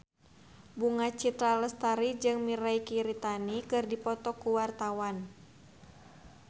Bunga Citra Lestari jeung Mirei Kiritani keur dipoto ku wartawan